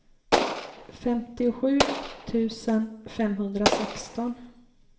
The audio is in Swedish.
femtiosju tusen femhundrasexton